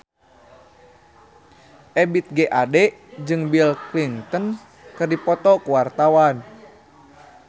Ebith G. Ade jeung Bill Clinton keur dipoto ku wartawan